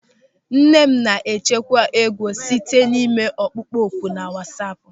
Nne m na-echekwa ego site n'ime ọkpụkpọ oku na wasaapu.